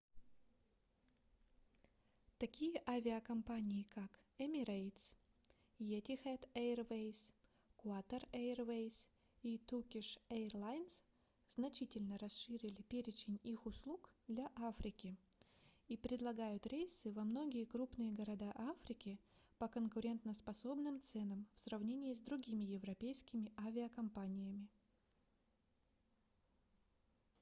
такие авиакомпании как emirates etihad airways qatar airways и turkish airlines значительно расширили перечень их услуг для африки и предлагают рейсы во многие крупные города африки по конкурентоспособным ценам в сравнении с другими европейскими авиакомпаниями